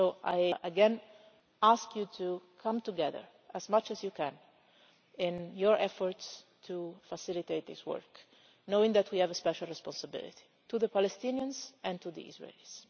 So again I ask you to come together, as much as you can, in your efforts to facilitate this work, knowing that we have a special responsibility to the Palestinians and to the Israelis.